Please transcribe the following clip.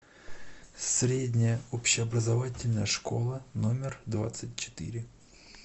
средняя общеобразовательная школа номер двадцать четыре